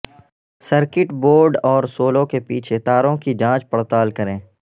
circuit board اور سولو کے پیچھے تاروں کی جانچ پڑتال کریں